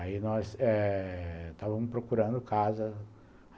Aí nós eh estávamos procurando casa.